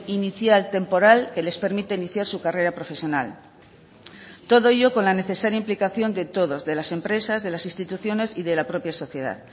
inicial temporal que les permite iniciar su carrera profesional todo ello con la necesaria implicación de todos de las empresas de las instituciones y de la propia sociedad